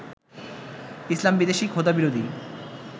ইসলামবিদ্বেষী, খোদাবিরোধী